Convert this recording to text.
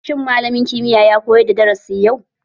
Shin malamin kimiyya ya koyar da darasin yau?